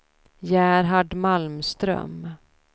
Gerhard Malmström